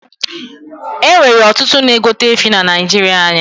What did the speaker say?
E nwere ọtụtụ na egote efi na naijiria anyi